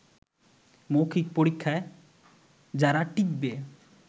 মৌখিক পরীক্ষায় যারা টিকবে